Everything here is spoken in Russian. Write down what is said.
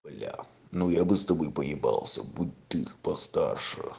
бля ну я бы с тобой поебался будь ты постарше